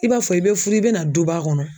I b'a fɔ i bɛ furu i bɛna duba kɔnɔ